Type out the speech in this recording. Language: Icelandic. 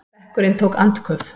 Bekkurinn tók andköf.